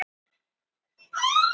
Það veit hamingjan.